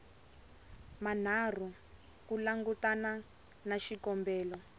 manharhu ku langutana na xikombelo